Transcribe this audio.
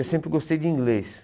Eu sempre gostei de inglês.